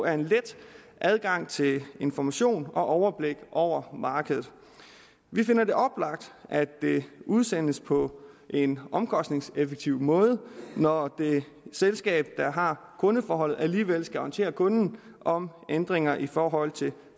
er en let adgang til information om og overblik over markedet vi finder det oplagt at det udsendes på en omkostningseffektiv måde når det selskab der har kundeforholdet alligevel skal orientere kunden om ændringer i forhold til